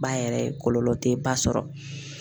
Ba yɛrɛ ye, kɔlɔlɔ tɛ ba sɔrɔ.